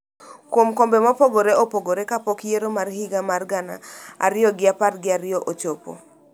kuom kombe mopogore opogore kapok yiero mar higa mar gana ariyo gi apar gi ariyo ochopo.